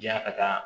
Janya ka taa